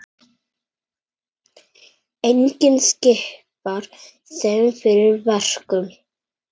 Enginn skipar þeim fyrir verkum.